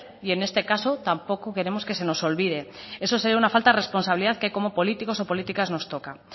y en este caso tampoco queremos que se nos olvide eso sería una falta de responsabilidad que como políticos o políticas nos toca